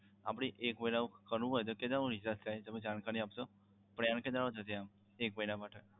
આપણે એક મહિનાનું કરવું હોય તો કેટલા મા recharge થાય જાણકારી આપશો તમે sir plan કેટલા નો છે એક મહિના માટે?